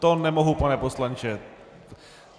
To nemohu, pane poslanče.